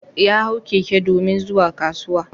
Ya hau keke domin zuwa kasuwa.